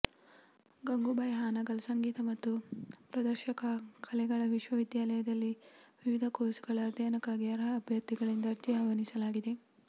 ಗಂಗೂಬಾಯಿ ಹಾನಗಲ್ ಸಂಗೀತ ಮತ್ತು ಪ್ರದರ್ಶಕ ಕಲೆಗಳ ವಿಶ್ವವಿದ್ಯಾಲಯದಲ್ಲಿ ವಿವಿಧ ಕೋರ್ಸುಗಳ ಅಧ್ಯಯನಕ್ಕಾಗಿ ಅರ್ಹ ಅಭ್ಯರ್ಥಿಗಳಿಂದ ಅರ್ಜಿ ಆಹ್ವಾನಿಸಲಾಗಿದೆ